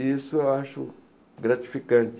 E isso eu acho gratificante.